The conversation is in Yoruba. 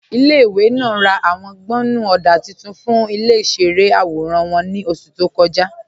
Ilẹ̀-ìwé náà rá ạwọn gbọ́nnú ọdá tuntun fún ilẹ̀-ìṣẹ̀rẹ̀ awóran wọn ní oṣù tó kọ́jà.